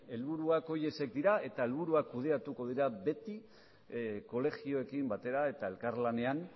helburuak horiek dira eta helburuak kudeatuko dira beti kolegioekin batera eta elkarlanean